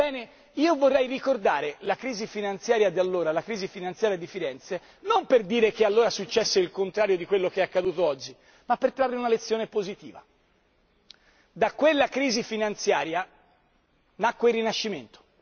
Bene io vorrei ricordare la crisi finanziaria di Firenze non per dire che allora successe il contrario di quello che è accaduto oggi, ma per trarre una lezione positiva da quella crisi finanziaria nacque il Rinascimento.